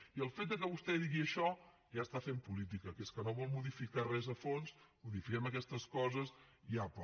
i el fet que vostè digui això ja està fent política que és que no vol modificar res a fons modifiquem aquestes coses i apa